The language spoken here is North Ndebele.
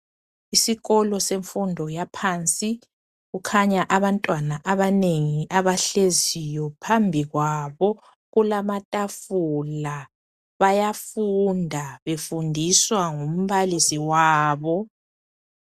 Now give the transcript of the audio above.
Isikolo semfundo yaphansi kukhanya abantwana abanengi abahleziyo phambili kwabo kulamatafula bayafunda befundiswa ngumbalisi wabo.